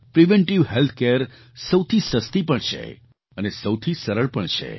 preventive health care સૌથી સસ્તી પણ છે અને સૌથી સરળ પણ છે